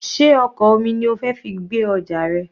Sé ọkọ̀ omi ni o fi fẹ́ gbé ọjà rẹ?